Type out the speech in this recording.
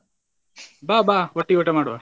ಬಾ ಬಾ ಒಟ್ಟಿಗ್ ಊಟ ಮಾಡುವಾ.